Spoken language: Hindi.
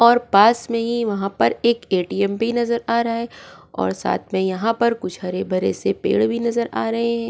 और पास में ही वहां पर एक एटीएम भी नजर आ रहा है और साथ में यहां पर कुछ हरे भरे से पेड़ भी नजर आ रहे हैं।